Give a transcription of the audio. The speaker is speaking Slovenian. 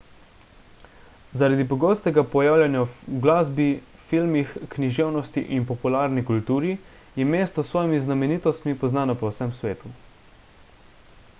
zaradi pogostega pojavljanja v glasbi filmih književnosti in popularni kulturi je mesto s svojimi znamenitostmi poznano po vsem svetu